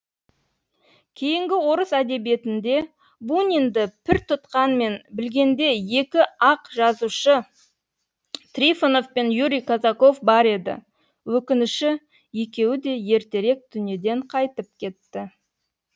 кейінгі орыс әдебиетінде бунинді пір тұтқан мен білгенде екі ақ жазушы трифонов пен юрий казаков бар еді өкініші екеуі де ертерек дүниеден қайтып кетті